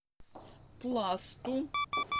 пласту